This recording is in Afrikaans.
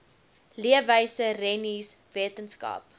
leefwyse rennies wetenskap